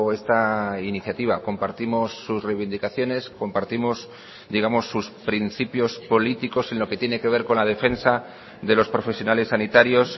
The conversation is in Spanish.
esta iniciativa compartimos sus reivindicaciones compartimos digamos sus principios políticos en lo que tiene que ver con la defensa de los profesionales sanitarios